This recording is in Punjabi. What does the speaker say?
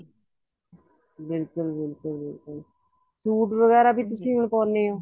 ਬਿਲਕੁਲ ਬਿਲਕੁਲ ਬਿਲਕੁਲ ਸੂਟ ਵਗੈਰਾ ਵੀ ਤੁਸੀਂ ਪਾਉਣੇ ਹੋ